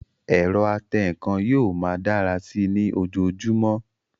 Ẹ̀rọ atẹǹkan yóò máa dára sí i ní ojojúmọ́